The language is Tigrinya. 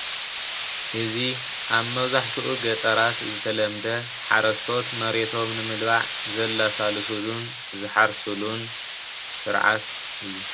እዚ ኣብ መብዛሕትኡ ገጠራት ዝተለመደ ሓረስቶት መሬቶም ንምልማዕ ዘላሳልሱሉን ዝሓርሱሉን ስርዓት እዩ፡፡